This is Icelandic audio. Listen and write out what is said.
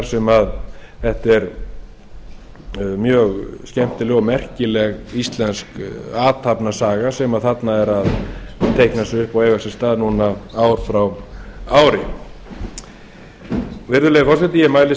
sem þetta er mjög skemmtileg og merkileg íslensk athafnasaga sem þarna er að teikna sig upp og eiga sér stað núna ár frá ári virðulegi forseti ég mælist